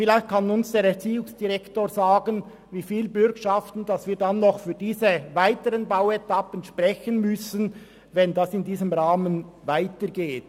Vielleicht kann uns der Erziehungsdirektor sagen, wie viele Bürgschaften wir dann für diese weiteren Bauetappen noch sprechen müssen, wenn es in diesem Rahmen weitergeht.